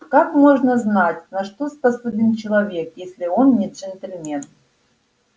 как можно знать на что способен человек если он не джентльмен